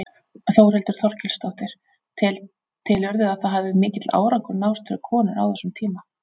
Þórhildur Þorkelsdóttir: Telurðu að það hafi mikill árangur náðst fyrir konur á þessum tíma?